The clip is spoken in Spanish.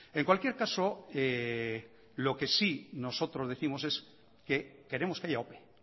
en cualquier caso lo que sí nosotros décimos es que queremos que haya ope